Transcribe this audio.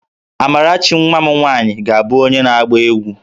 Amarachi nwa m nwaanyị ga-abụ onye na-agba egwu